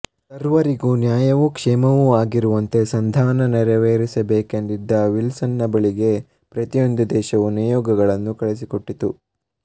ಸರ್ವರಿಗೂ ನ್ಯಾಯವೂ ಕ್ಷೇಮವೂ ಆಗಿರುವಂತೆ ಸಂಧಾನ ನೆರವೇರಿಸಬೇಕೆಂದಿದ್ದ ವಿಲ್ಸನ್ನ ಬಳಿಗೆ ಪ್ರತಿಯೊಂದು ದೇಶವೂ ನಿಯೋಗಗಳನ್ನು ಕಳುಹಿಸಿಕೊಟ್ಟಿತು